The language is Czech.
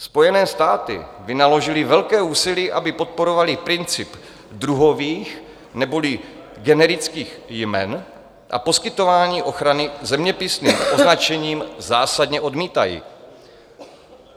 Spojené státy vynaložily velké úsilí, aby podporovaly princip druhových neboli generických jmen a poskytování ochrany zeměpisným označením zásadně odmítají.